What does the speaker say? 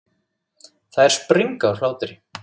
Þær springa úr hlátri.